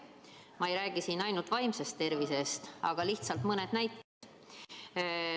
Ma ei räägi siin ainult vaimsest tervisest, aga lihtsalt mõned näited.